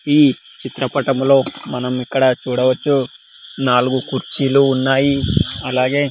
ఈ చిత్రపటంలో మనం ఇక్కడ చూడవచ్చు నాలుగు కుర్చీలు ఉన్నాయి అలాగే.